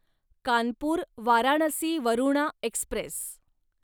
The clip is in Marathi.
कानपूर वाराणसी वरुणा एक्स्प्रेस